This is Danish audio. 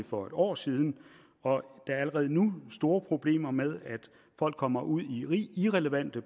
for et år siden og der er allerede nu store problemer med at folk kommer ud i irrelevante